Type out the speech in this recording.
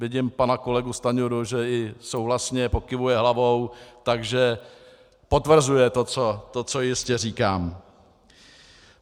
Vidím pana kolegu Stanjuru, že i souhlasně pokyvuje hlavou, takže potvrzuje to, co jistě říkám.